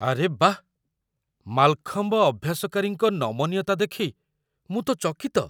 ଆରେ ବାଃ, ମାଲଖମ୍ବ ଅଭ୍ୟାସକାରୀଙ୍କ ନମନୀୟତା ଦେଖି ମୁଁ ତ ଚକିତ!